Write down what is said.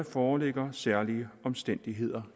foreligger særlige omstændigheder